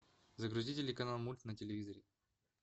загрузи телеканал мульт на телевизоре